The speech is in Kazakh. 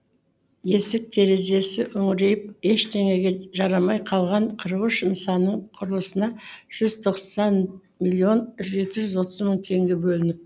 есік терезесі үңірейіп ештеңеге жарамай қалған қырық үш нысанның құрылысына жүз тоқсан миллион жеті жүз отыз мың теңге бөлініп